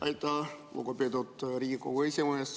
Aitäh, lugupeetud Riigikogu esimees!